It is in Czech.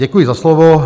Děkuji za slovo.